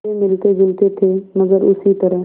वे मिलतेजुलते थे मगर उसी तरह